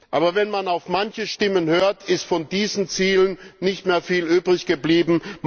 Aber wenn man auf manche Stimmen hört, ist von diesen Zielen nicht mehr viel übrig geblieben.